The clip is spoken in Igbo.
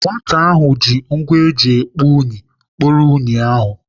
Nwata ahụ ji ngwa eji ekpo unyi kporo unyi ahụ.